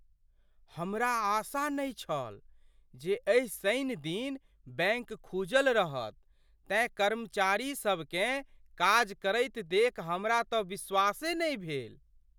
हमरा आशा नहि छल जे एहि शनि दिन बैंक खुजल रहत तेँ कर्मचारीसभकेँ काज करैत देखि हमरा तँ विश्वासे नहि भेल।